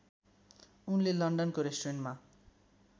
उनले लण्डनको रेस्टुरेन्टमा